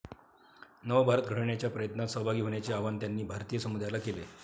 नवभारत घडवण्याच्या प्रयत्नात सहभागी होण्याचे आवाहन त्यांनी भारतीय समुदायाला केले.